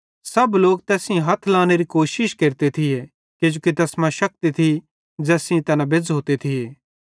सब लोक तैस सेइं हथ लांनेरी कोशिश केरते थिये किजोकि तैस मां शक्ति थी ज़ैस सेइं तैना बेज़्झ़ोते थिये